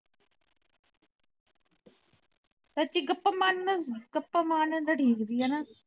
ਸੱਚੀ ਗੱਪਾਂ ਮਾਰਨ ਗੱਪਾਂ ਮਾਰਨ ਨੂੰ ਤੇ ਠੀਕ ਸੀ ਹੇਨਾ